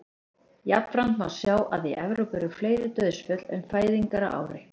jafnframt má sjá að í evrópu eru fleiri dauðsföll en fæðingar á ári